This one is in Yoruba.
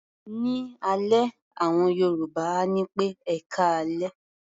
Ní alẹ́, àwọn Yorùbá á ní pé "ẹkáalẹ́".